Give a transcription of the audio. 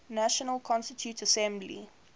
national constituent assembly